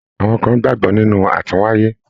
Àwọn kàn gbagbọ nínú atúnwáyé.